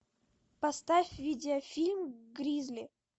поставь видеофильм гризли